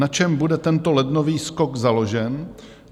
Na čem bude tento lednový skok založen?